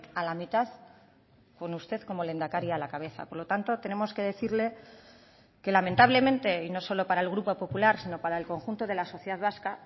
a la mitad con usted como lehendakari a la cabeza por lo tanto tenemos que decirle que lamentablemente y no solo para el grupo popular sino para el conjunto de la sociedad vasca